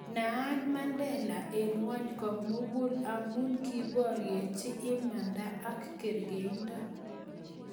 Naat Mandela eng' ng'ony ko mugul amu kiboryechi imanda ak kerkeindo